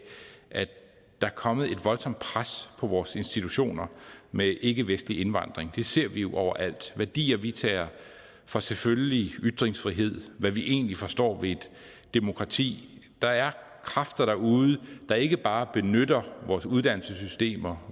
at der er kommet et voldsomt pres på vores institutioner med ikkevestlig indvandring det ser vi jo overalt værdier vi tager for selvfølgelige ytringsfrihed hvad vi egentlig forstår ved et demokrati der er kræfter derude der ikke bare benytter vores uddannelsessystemer